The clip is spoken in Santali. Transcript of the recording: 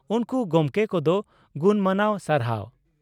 ᱩᱱᱠᱩ ᱜᱚᱢᱠᱮ ᱠᱚᱫᱚ ᱜᱩᱱᱢᱟᱱᱟᱣ ᱥᱟᱨᱦᱟᱣ ᱾